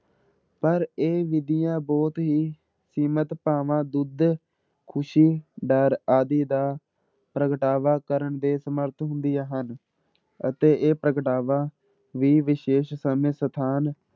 ਪਰ ਇਹ ਵਿਧੀਆਂ ਬਹੁਤ ਹੀ ਸੀਮਿਤ ਭਾਵਾਂ ਦੁੱਧ, ਖ਼ੁਸ਼ੀ, ਡਰ ਆਦਿ ਦਾ ਪ੍ਰਗਟਾਵਾ ਕਰਨ ਦੇ ਸਮਰਥ ਹੁੰਦੀਆਂ ਹਨ ਅਤੇ ਇਹ ਪ੍ਰਗਟਾਵਾ ਵੀ ਵਿਸ਼ੇਸ਼ ਸਮੇਂ ਸਥਾਨ